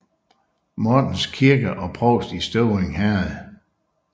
Mortens Kirke og Provst i Støvring Herred